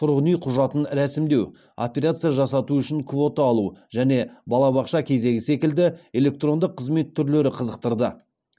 тұрғын үй құжатын рәсімдеу операция жасату үшін квота алу және балабақша кезегі секілді электронды қызмет түрлері қызықтырды